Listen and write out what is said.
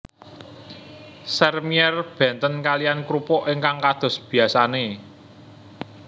Sèrmièr benten kaliyan krupuk ingkang kados biyasane